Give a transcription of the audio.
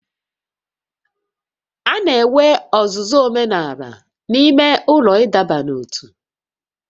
A na-enwe ọzụzụ omenala n'ime ụlọ ịdọba n'ótú